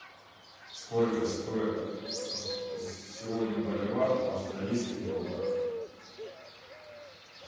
сколько стоит сегодня боливар в австралийских долларах